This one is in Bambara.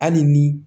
Hali ni